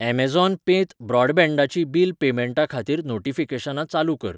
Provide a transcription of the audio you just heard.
Amazon पें त ब्रॉडबँडाचीं बिल पेमेंटा खातीर नोटीफिकेशनां चालू कर.